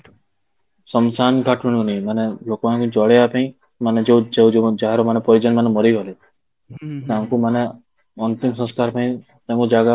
ଶ୍ମଶାନ ଘାଟ ମିଳୁନି ମାନେ ଲୋକ ମାନଙ୍କୁ ଜଳେଇବା ପାଇଁ ମାନେ ଯୋଉ ଯୋଉ ମାନେ ଯାହାର ମାନେ ପରିଜନ ମାନେ ମରିଗଲେ ତାଙ୍କୁ ମାନେ ଅନ୍ତିମ ସଂସ୍କାର ପାଇଁ ତାଙ୍କୁ ଜାଗା